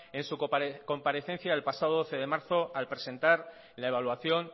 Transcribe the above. en su comparecencia del pasado doce de marzo al presentar la evaluación